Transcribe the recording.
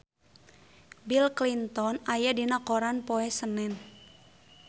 Bill Clinton aya dina koran poe Senen